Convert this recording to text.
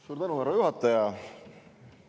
Suur tänu, härra juhataja!